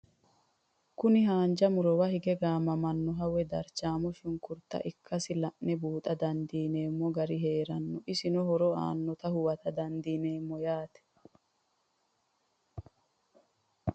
Kuni hanja murowa hige gamamanoha woyi darchamo shinkurta ikasi la'ne buuxa dandinemo gari heerano isino horo anota huwata dandinemo yaate?